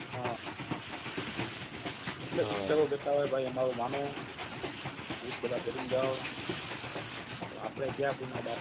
હા એટલે શિક્ષકો કહતા હોય ભાઈ અમારું માનું બુટ બધા પેહરીન જાવો આપડે ક્યાં કોઈના બાપ